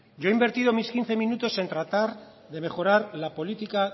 yo he invertido mis quince minutos en tratar de mejorar la política